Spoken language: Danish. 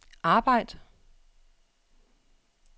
arbejd